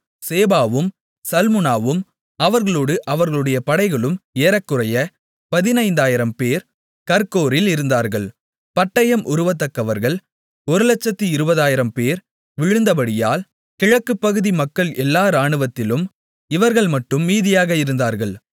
சேபாவும் சல்முனாவும் அவர்களோடு அவர்களுடைய படைகளும் ஏறக்குறைய 15000 பேர் கர்கோரில் இருந்தார்கள் பட்டயம் உருவத்தக்கவர்கள் 120000 பேர் விழுந்தபடியால் கிழக்குப்பகுதி மக்கள் எல்லா ராணுவத்திலும் இவர்கள் மட்டும் மீதியாக இருந்தார்கள்